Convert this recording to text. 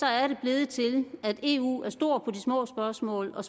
er det blevet til at eu er stor på de små spørgsmål og